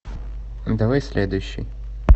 давай следующий